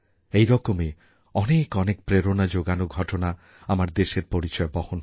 এরকমই অনেক অনেক প্রেরণা যোগানো ঘটনা আমার দেশের পরিচয় বহন করে